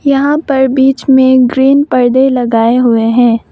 यहां पर बीच में ग्रीन पर्दे लगाए हुए हैं।